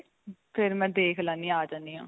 ਫ਼ਿਰ ਮੈਂ ਦੇਖ ਲੈਨੀ ਆ ਆ ਜਾਨੀ ਆਂ.